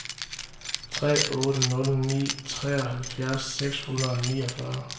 tre otte nul ni treoghalvfjerds seks hundrede og niogfyrre